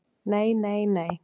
"""Nei, nei, nei!"""